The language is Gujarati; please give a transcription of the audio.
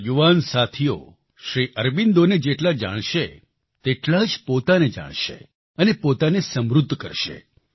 મારા યુવાન સાથીઓ શ્રી અરબિંદોને જેટલા જાણશે તેટલા જ પોતાને જાણશે અને પોતાને સમૃદ્ધ કરશે